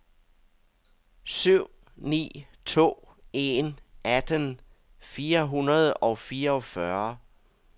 syv ni to en atten fire hundrede og fireogfyrre